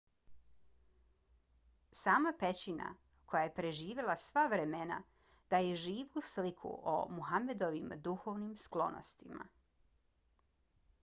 sama pećina koja je preživjela sva vremena daje živu sliku o muhammedovim duhovnim sklonostima